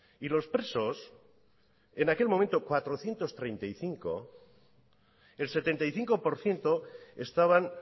y los presos en aquel momento cuatrocientos treinta y cinco el setenta y cinco por ciento estaban